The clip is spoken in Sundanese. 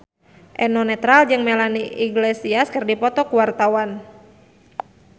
Eno Netral jeung Melanie Iglesias keur dipoto ku wartawan